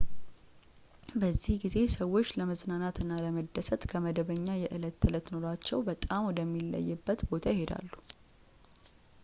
በዚህ ጊዜ ሰዎች ለመዝናናት እና ለመደሰት ከመደበኛ የዕለት ተዕለት ኑሯቸው በጣም ወደሚለይበት ቦታ ይሄዳሉ